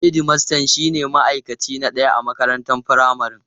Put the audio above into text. Hedmasta shine ma'aikaci na ɗaya a makarantar firamare.